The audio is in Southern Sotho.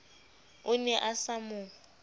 o ne a sa mo